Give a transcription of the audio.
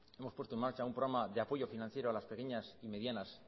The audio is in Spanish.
hemos puesto en marcha un programa de apoyo financiero a las pequeñas y medianas